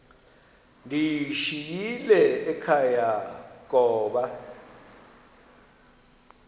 ndiyishiyile ekhaya koba